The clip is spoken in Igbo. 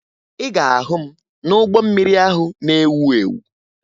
Ị ga-ahụ m n'ụgbọ mmiri ahụ na-ewu ewu